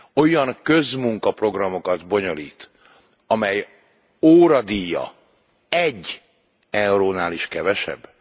olyan közmunkaprogramokat bonyolít, amely óradíja 1 eurónál is kevesebb?